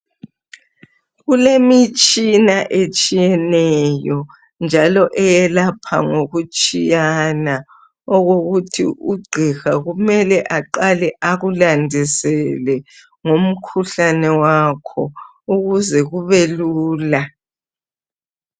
Kulemitshina etshiyeneyo njalo eyelapha ngoku tshiyana okokuthi u gqiha kumele aqale akulandisele ngomkhuhlane wakho ukuze kube lula.